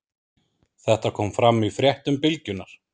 Þetta kom fram í fréttum Bylgjunnar